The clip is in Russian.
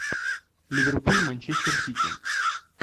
ливерпуль манчестер сити